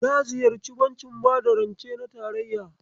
Na ziyarci bankin bada rance na tarayya.